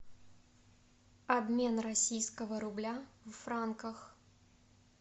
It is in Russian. обмен российского рубля в франках